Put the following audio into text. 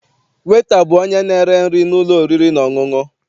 Weta bụ onye na-ere nri n'ụlọ oriri na ọṅụṅụ.